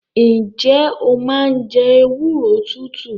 Ǹjẹ́ o máa ń jẹ ewúro tútù?